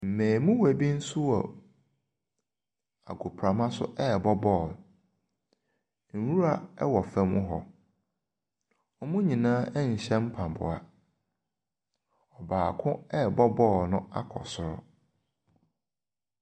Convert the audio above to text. Mmaamua bi nso wɔ ahoprama so ɛrebɔ bɔɔlo. Nwura wɔ fam hɔ. Wɔn nyinaa nhyɛ mpaboa. Baako ɛrebɔ bɔɔlo no akɔ soro.